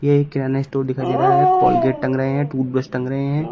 ये एक किराना स्टोर दिखाई दे रहा है कोलगेट टंग रहे हैं टूथब्रश टंग रहे हैं।